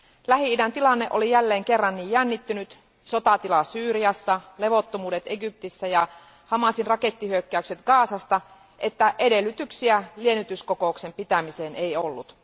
Lähi idän tilanne oli jälleen kerran niin jännittynyt, sotatila Syyriassa, levottomuudet Egyptissä ja Hamasin rakettihyökkäykset Gazasta, että edellytyksiä liennytyskokouksen pitämiseen ei ollut.